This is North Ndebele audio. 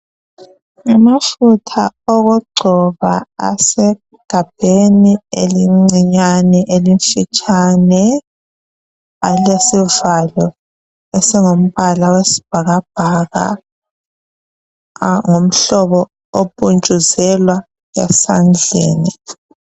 Ngamafutha okugcoba asegabheni elincinyana elifitshane alesivalo esingumbala wesibhakabhaka angumhlobo opuntshuzelwa esandleni